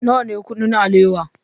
Nawa ne kuɗin alewa?